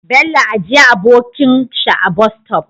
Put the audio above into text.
Bello ajiya abokan shi a Bus stop